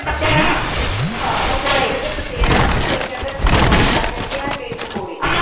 ਹਾਂ ਕਈ ਕਹਿੰਦੇ ਪਤੇਡਾ ਕਈ ਕਹਿੰਦੇ ਆ ਬਾਠਾ ਕਹਿੰਦੇ ਆ ਕਈ ਪਕੌੜੇ।